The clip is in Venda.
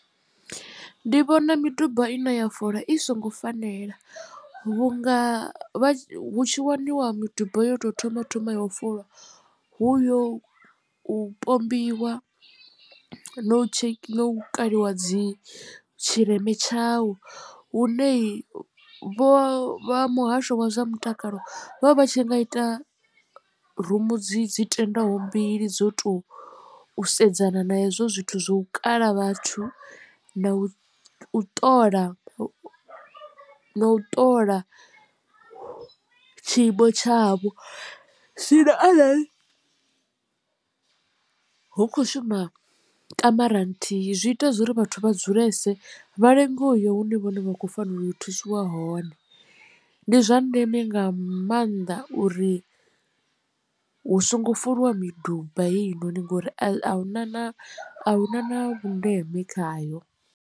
Ndi vhona miduba ine ya folwa i songo fanela vhunga hu tshi waniwa miduba yo tou thoma thoma ya u fula hu uya u pombiwa no kaliwa dzi tshileme tshau hu ne vho vha muhasho wa zwa mutakalo vha vha vha tshi nga ita rumu dzi dzi tenda ho mbili dzo to sedzana na hezwo zwithu zwo kala vhathu na u u ṱola na u ṱola tshiimo tshavho zwino arali hu khou shuma kamara nthihi zwi ita zwori vhathu vha dzulese vha lenge uya hune vhone vha khou fanela u thusiwa hone. Ndi zwa ndeme nga maanḓa uri hu songo foliwa miduba heyi noni ngori ahuna na na vhundeme khayo.